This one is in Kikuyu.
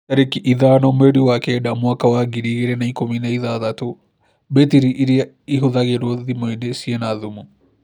Tarĩki ithano mweri wa kenda mwaka wa ngiri igĩrĩ na ikũmi na ithathatũ, mbetiri irĩa ihũthĩragw0 thimũ-inĩ ciĩna thumu